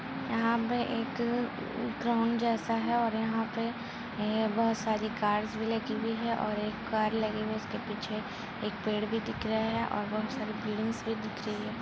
यहाँ पे एक अ ग्राउंड जैसा है और यहाँ पे ऐ बहुत सारी कार भी लगी हुई है और एक कार लगी है उसके पीछे एक पेड़ भी दिख रहा है और बहुत सारी बिल्डिंगस भी दिख रही है।